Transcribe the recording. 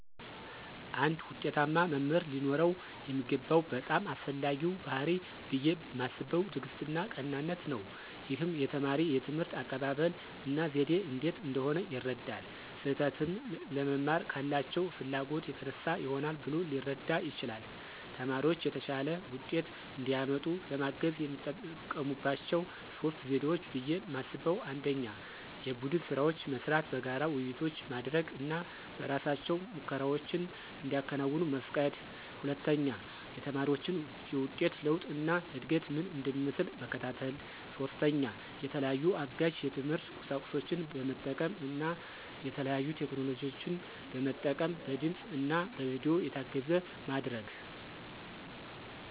አንድ ዉጤታማ መምህር ሊኖረው የሚገባው በጣም አስፈላጊው ባሕርይ ብየ ማስበው ትዕግስትና ቀናነት ነው። ይህም የተማሪ የትምህርት አቀባበል እና ዘዴ እንዴት እንደሆነ ይረዳል። ስህተትን ለመማር ካላቸው ፍላጎት የተነሳ ይሆናል ብሎ ሊረዳ ይችላል። ተማሪዎች የተሻለ ውጤት እንዲያመጡ ለማገዝ የሚጠቀሙባቸው 3 ዘዴዎች ብየ ማስበው 1=የቡድን ስራዎች መስራት፣ በጋራ ውይይቶች ማድረግ እና በእራሳቸው ሙከራዎችን እንዲያከናውኑ መፍቀድ 2=የተማሪዎችን የውጤት ለውጥ እና እድገት ምን እንደሚመስል መከታተል። 3=የተለያዩ አጋዥ የትምህርት ቁሳቁሶችን በመጠቀም እና የተለያዩ ቴክኖሎጂን መጠቀም በድምፅ እና በቪዲዮ የታገዘ ማድረግ።